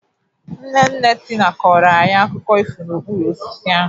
Nne nne Tina kọrọ anyị akụkọ ifo n'okpuru osisi ahụ.